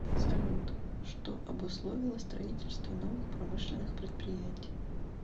салют что обусловило строительство новых промышленных предприятий